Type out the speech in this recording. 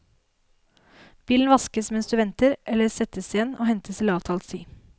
Bilen vaskes mens du venter eller settes igjen og hentes til avtalt tid.